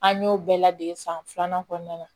An y'o bɛɛ ladege san filanan kɔnɔna na